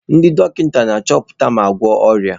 Ndị dọkịta na-achọpụta ma na-agwọ ọrịa.